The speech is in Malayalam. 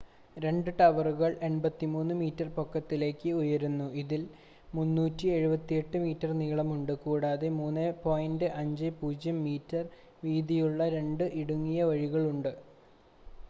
രണ്ട് ടവറുകൾ 83 മീറ്റർ പൊക്കത്തിലേക്ക് ഉയരുന്നു ഇതിന് 378 മീറ്റർ നീളമുണ്ട് കൂടാതെ 3.50 മീറ്റർ വീതിയുള്ള രണ്ട് ഇടുങ്ങിയ വഴികൾ ഉണ്ട്